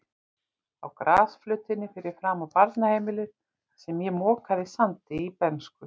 Á grasflötinni fyrir framan barnaheimilið, þar sem ég mokaði sandi í bernsku.